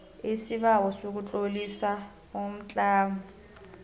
isibawo sokutlolisa umtlamo